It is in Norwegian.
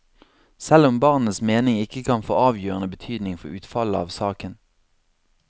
Selv om barnets mening ikke kan få avgjørende betydning for utfallet av saken.